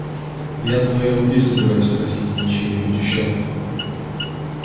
я твоей руки собираюсь просить а не чьей-нибудь ещё